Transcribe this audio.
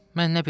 Mən nə bilim?